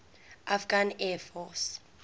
afghan air force